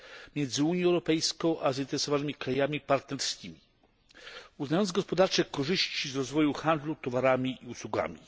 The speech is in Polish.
między Unią Europejską a zainteresowanymi krajami partnerskimi, uznając gospodarcze korzyści z rozwoju handlu towarami i usługami.